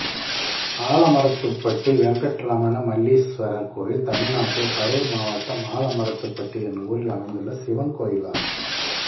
ஆலமரத்துப்பட்டி வெங்கட்ரமண மல்லீஸ்வரர் கோயில் தமிழ்நாட்டில் கரூர் மாவட்டம் ஆலமரத்துப்பட்டி என்னும் ஊரில் அமைந்துள்ள சிவன் கோயிலாகும்